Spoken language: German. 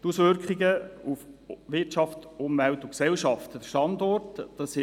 Die Auswirkungen auf Wirtschaft, Umwelt und Gesellschaft: Der Standort ist ideal.